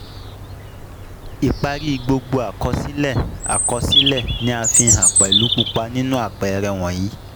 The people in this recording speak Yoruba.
Ipari gbogbo àkọsílẹ àkọsílẹ ni a fihàn pelu pupa ninu àpẹẹrẹ wọ̀nyíí